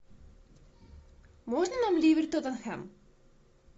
можно нам ливер тоттенхэм